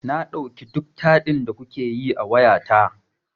Na ɗauki duk taɗin da kuke yi a wayata.